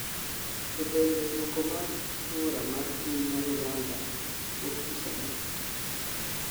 To bende dwoko mar kura mar piny ma Uganda wuok tich adi?